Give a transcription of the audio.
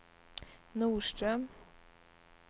Norström